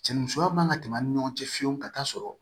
Cɛnnimusoya man ka tɛmɛ an ni ɲɔgɔn cɛ fiyewu ka taa sɔrɔ